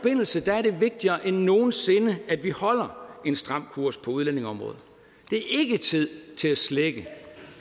er det vigtigere end nogen sinde at vi holder en stram kurs på udlændingeområdet det er ikke tid til at slække